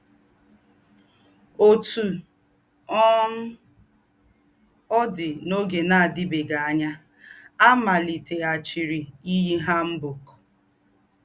Òtú um ọ̀ dì, n’ógé nà-àdìbèéghí ànyá, à màlìtèghàchírì íyí hanbok.